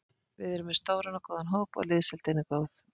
Við erum með stóran og góðan hóp og liðsheildin er góð.